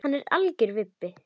Hann er algjör vibbi.